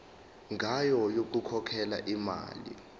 ngayo yokukhokhela imali